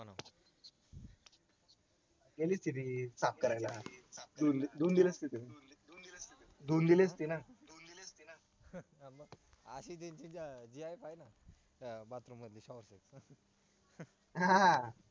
त्यांनीच केली साफ करायला धुवून दिली असती ना